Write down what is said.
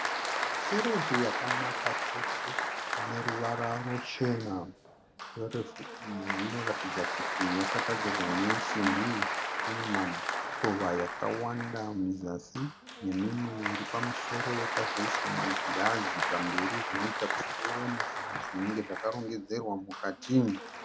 Sherefu yakanaka chose ineruvara ruchena. Sherefu iyi inoratidza kuti yakagadzirwa nesimbi. Inema mukova yakawanda muzasi nemimwe iri pamusoro. Yakazoiswa magirazi zvinoita kuti muone zvinenge zvakarongedzwa mukati.